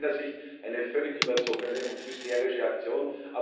Aus meiner Sicht eine völlig überzogene und hysterische Aktion.